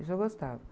Isso eu gostava.